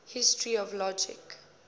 history of logic